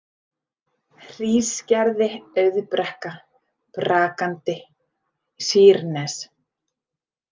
Hrísgerði, Auðbrekka, Brakandi, Sýrnes